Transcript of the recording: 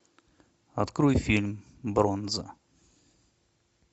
открой фильм бронза